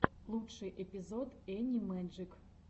лучший эпизод энни мэджик